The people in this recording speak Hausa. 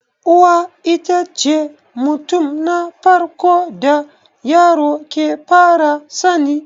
Uwa itace mutum na farko da yaro ke fara sani